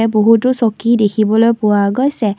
বহুতো চকী দেখিবলৈ পোৱা গৈছে।